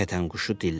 Kətənquşu dilləndi.